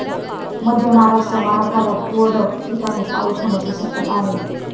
मध्य महाराष्ट्र, मराठवाड्यात तुरळक ठिकाणी पाऊस होण्याची शक्यताआहे.